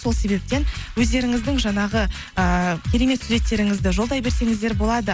сол себептен өздеріңіздің жаңағы ыыы керемет суреттеріңізді жолдай берсеңіздер болады